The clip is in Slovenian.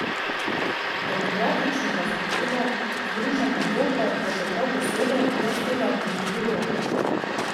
Demokratičnega Zahoda, združene Evrope pa še prav posebej, brez tega ne bi bilo.